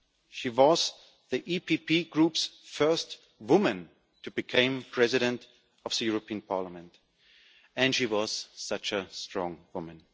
She was the EPP Group's first woman to become President of the European Parliament, and she was such a strong woman.